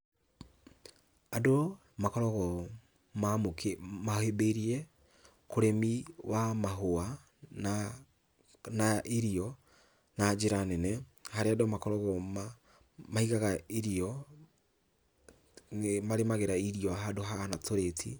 Andũ makoragwo mahĩmbĩirie ũrĩmi wa mahũa na na irio na njĩra nene, harĩa andũ makoragwo maigaga irio, nĩmarĩmagĩra irio handũ hahana tũrĩti.